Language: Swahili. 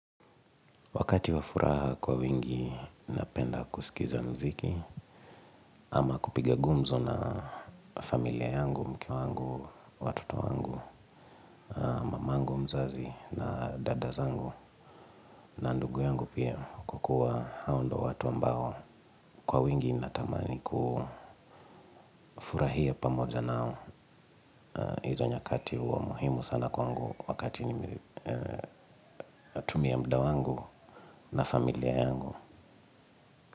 Wakati wa furaha kwa wingi, napenda kusikiza muziki. Ama kupiga gumzo na familia yangu, mke wangu, watoto wangu, mamangu, mzazi na dada zangu na ndugu yangu pia kwa kuwa hao ndio watu ambao. Kwa wingi, natamani kufurahia pamoja nao. Hizo nyakati huwa muhimu sana kwaangu wakati tumia muda wangu na familia yangu.